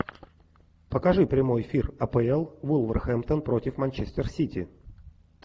покажи прямой эфир апл вулверхэмптон против манчестер сити